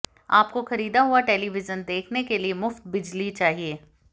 आपको खरीदा हुआ टेलीविजन देखने के लिए मुफ्त बिजली चाहिए